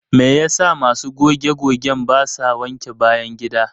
Me yasa masu goge-gogen basa wanke bayan gida?